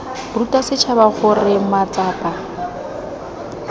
ruta setšhaba gore mat sapa